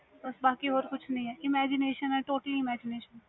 ਹਾ